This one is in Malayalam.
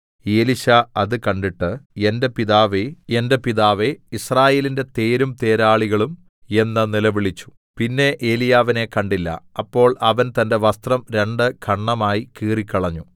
എലീശാ അത് കണ്ടിട്ട് എന്റെ പിതാവേ എന്റെ പിതാവേ യിസ്രായേലിന്റെ തേരും തേരാളികളും എന്ന് നിലവിളിച്ചു പിന്നെ ഏലീയാവിനെ കണ്ടില്ല അപ്പോൾ അവൻ തന്റെ വസ്ത്രം രണ്ട് ഖണ്ഡമായി കീറിക്കളഞ്ഞു